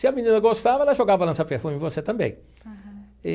Se a menina gostava, ela jogava lança-perfume em você também. Aham.